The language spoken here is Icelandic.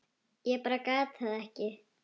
Ég bara gat það ekki.